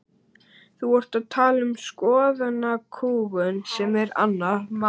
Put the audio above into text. Þú ert að tala um skoðanakúgun sem er annað mál.